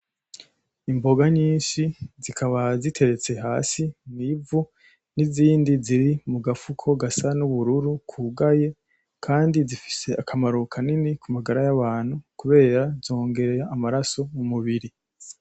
Imboga nyinshi zikaba ziteretse hasi mwivu nizindi ziri mugafuko gasa nubururu kugaye kandi zifise akamaro kanini kumagara yabantu kubera zongera amaraso mumubiri.